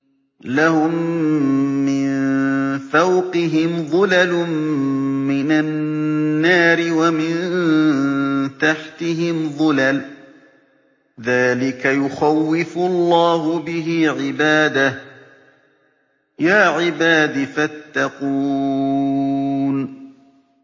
لَهُم مِّن فَوْقِهِمْ ظُلَلٌ مِّنَ النَّارِ وَمِن تَحْتِهِمْ ظُلَلٌ ۚ ذَٰلِكَ يُخَوِّفُ اللَّهُ بِهِ عِبَادَهُ ۚ يَا عِبَادِ فَاتَّقُونِ